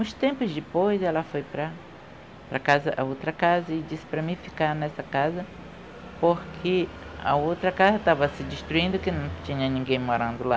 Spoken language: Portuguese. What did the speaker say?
Uns tempos depois, ela foi para para a casa, a outra casa e disse para mim ficar nessa casa, porque a outra casa estava se destruindo, porque não tinha ninguém morando lá.